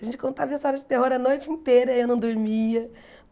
A gente contava história de terror a noite inteira e eu não dormia.